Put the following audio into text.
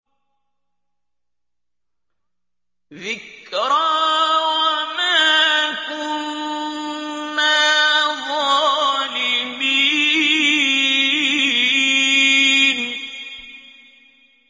ذِكْرَىٰ وَمَا كُنَّا ظَالِمِينَ